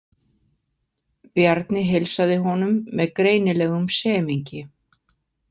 Bjarni heilsaði honum með greinilegum semingi.